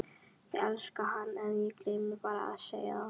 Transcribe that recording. Ég elskaði hann en ég gleymdi bara að segja það.